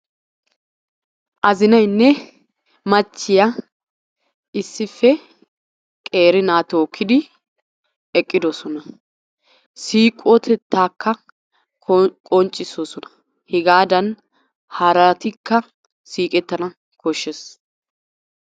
Azinaaynne machchiya issippe qeeri na tookkidi eqqidoosona. siiqotetta qonccisoosona. hegaadana haratikka siiqetana bessees.